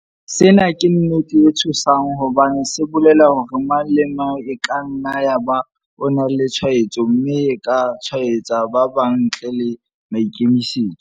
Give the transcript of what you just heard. Sena ke nnete e tshosang hobane se bolela hore mang le mang e ka nna ya ba o na le tshwaetso mme a ka tshwaetsa ba bang ntle le maikemisetso.